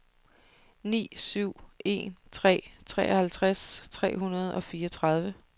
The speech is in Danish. ni syv en tre treoghalvtreds tre hundrede og fireogtredive